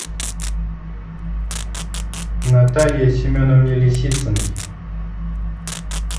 наталье семеновне лисициной